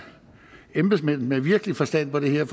embedsmænd med virkelig forstand på det her